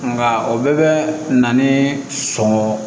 Nka o bɛɛ bɛ na ni sɔngɔn